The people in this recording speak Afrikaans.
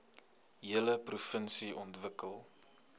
hele provinsie ontwikkel